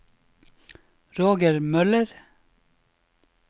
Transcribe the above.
Roger Møller